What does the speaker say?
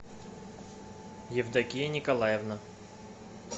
евдокия николаевна